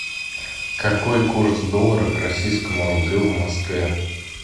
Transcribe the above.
какой курс доллара к российскому рублю в москве